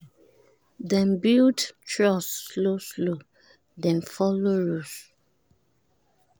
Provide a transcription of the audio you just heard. dem build trust slow slow dem follow rules